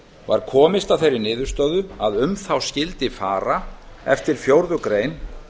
var komist að þeirri niðurstöðu að um þá skyldi fara eftir fjórðu grein